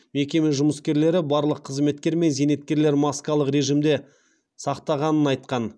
мекеме жұмыскерлері барлық қызметкер мен зейнеткерлер маскалық режимді сақтағанын айтқан